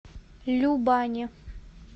любани